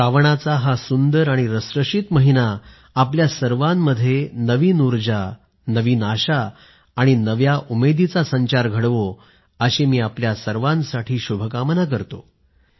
श्रावणाचा हा सुंदर आणि रसरशीत महिना आपल्या सर्वांमध्ये नवीन उर्जा नवी आशा आणि नव्या उमेदीचा संचार घडवो अशी मी आपल्या सर्वांसाठी शुभकामना करतो